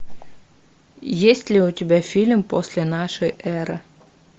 есть ли у тебя фильм после нашей эры